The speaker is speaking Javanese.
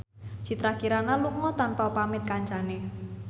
Citra Kirana lunga tanpa pamit kancane